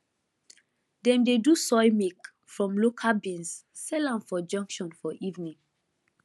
dem dey do soy milk from local beans sell am for junction for evening